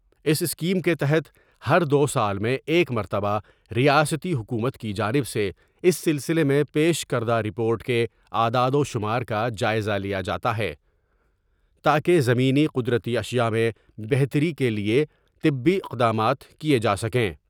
اس scheme کے تحت ہر دوسال میں ایک مرتبہ ریاستی حکومت کی جانب سے اس سلسلے میں پیش کردہ رپورٹ کے اعداد و شمار کا جائزہ لیا جا تا ہے تا کہ زمینی قدرتی اشیاء میں بہتری کے لیے طبی اقدامات کیے جاسکیں ۔